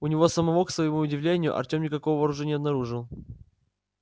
у него самого к своему удивлению артём никакого оружия не обнаружил